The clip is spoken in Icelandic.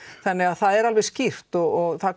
þannig það er alveg skýrt og það